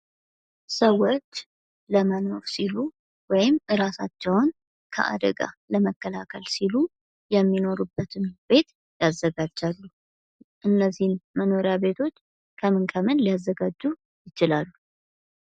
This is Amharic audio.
ሰዎች ለመኖር ሲሉ ወይም እራሳቸውን ከአደጋ ለመከላከል ሲሉ የሚኖሩበትን ቤት ያዘጋጃሉ። እነዚህን መኖሪያ ቤቶች ከምን ከምን ሊያዘጋጁ ይችላሉ?